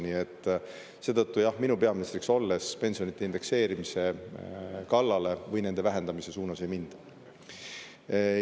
Nii et seetõttu, jah, minu peaministriks olles pensionide indekseerimise kallale või nende vähendamise suunas ei minda.